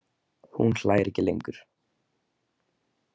Hún hlær ekki lengur.